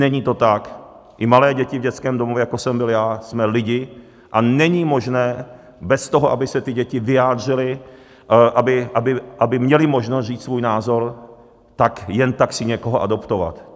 Není to tak, i malé děti v dětském domově, jako jsem byl já, jsme lidi a není možné bez toho, aby se ty děti vyjádřily, aby měly možnost říct svůj názor, tak jen tak si někoho adoptovat.